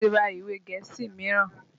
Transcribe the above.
Mo ti ra ìwe gẹ̀ẹ́sì míràn.